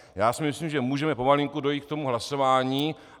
Já si myslím, že můžeme pomalinku dojít k tomu hlasování.